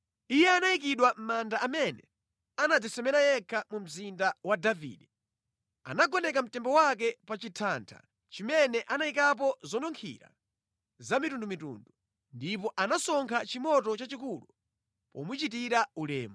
Iye anayikidwa mʼmanda amene anadzisemera yekha mu Mzinda wa Davide. Anagoneka mtembo wake pa chithatha chimene anayikapo zonunkhira zamitundumitundu, ndipo anasonkha chimoto chachikulu pomuchitira ulemu.